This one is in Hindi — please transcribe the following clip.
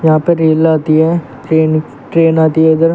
यहां पे रेल आती है ट्रेन ट्रेन आती है इधर।